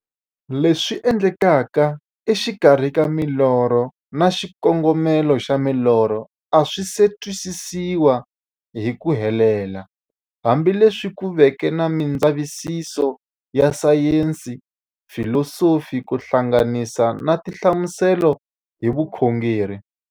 Leswi endlekaka e xikarhi ka milorho na xikongomelo xa milorho a swisi twisisiwa hi ku helela, hambi leswi ku veke na mindzavisiso ya sayensi, filosofi ku hlanganisa na tinhlamuselo hi vukhongori.